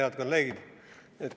Head kolleegid!